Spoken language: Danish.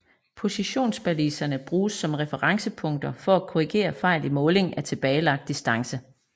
Positionsbaliserne bruges som referencepunkter for at korrigere fejl i måling af tilbagelagt distance